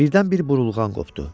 Birdən-bir burulğan qopdu.